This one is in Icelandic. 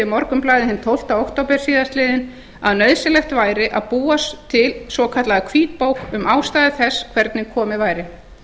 morgunblaðið hinn tólfti október síðastliðinn að nauðsynlegt væri að búa til svokallaða hvítbók um ástæður þess hvernig komið væri